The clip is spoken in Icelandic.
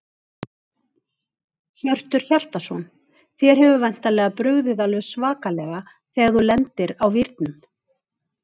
Hjörtur Hjartarson: Þér hefur væntanlega brugðið alveg svakalega þegar þú lendir á vírnum?